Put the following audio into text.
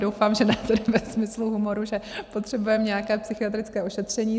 Doufám, že ne tedy ve smyslu humoru, že potřebujeme nějaké psychiatrické ošetření.